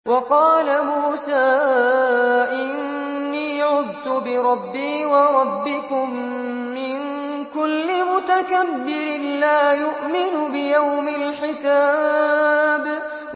وَقَالَ مُوسَىٰ إِنِّي عُذْتُ بِرَبِّي وَرَبِّكُم مِّن كُلِّ مُتَكَبِّرٍ لَّا يُؤْمِنُ بِيَوْمِ الْحِسَابِ